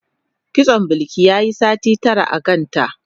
Kitson Bilki yayi sati tara a kanta.